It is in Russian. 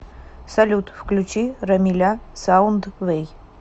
салют включи рамиля саундвэй